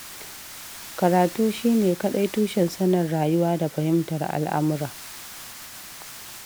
Karatu shi ne kaɗai tushen sanin rayuwa da fahimtar al'amura.